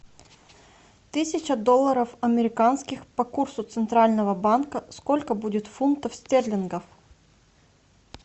тысяча долларов американских по курсу центрального банка сколько будет фунтов стерлингов